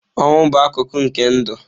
Ọnwụ bụ akụkụ nke ndụ.